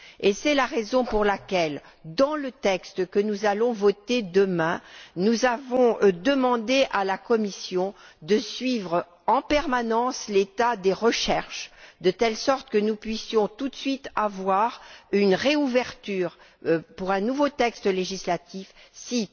Et c'est la raison pour laquelle, dans le texte que nous allons voter demain, nous avons demandé à la Commission de suivre en permanence l'état des recherches, de telle sorte que nous puissions tout de suite avoir une réouverture pour un nouveau texte législatif si